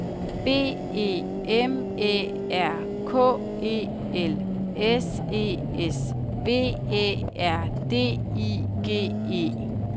B E M Æ R K E L S E S V Æ R D I G E